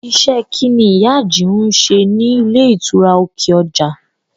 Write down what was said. Iṣẹ́ kín ni ìyá Àjìún ń ṣe ní ilé ìtura ti òkè ọjà?